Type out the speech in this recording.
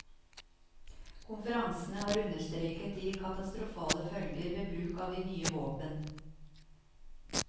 Konferansene har understreket de katastrofale følger ved bruk av de nye våpen.